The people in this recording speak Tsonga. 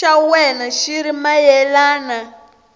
xa wena xi ri mayelana